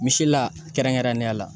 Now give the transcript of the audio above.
Misi la kɛrɛnkɛrɛnnenya la